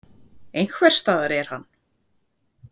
Einhvers staðar er hann.